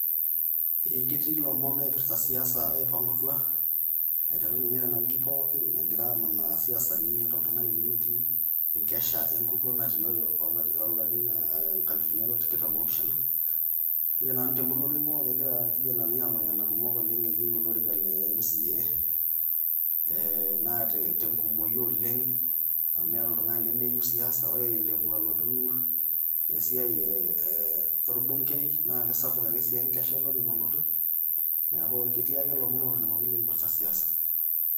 Ketii ilomon oipirita siasa oipang'utua, aiteru ninye tena wiki pookin egira amanaa isiasani meta oltung'ani lemetii enkesha enkukuo natio o larin inkalifuni are o tiktam opishana. Ore nanu te emurua naing'ua, egira ilkijanani ang'oyana kumok eyeu olorika le MCA naa te nkumoyu oleng amu meeta oltung'ani lemeyu siasa, ore lekwa alotu olorika esiai lolbungei, naa sapuk ake sii enkesha olorika olotu, neaku ketii ake ilomon otoning'oki oipirita siasa.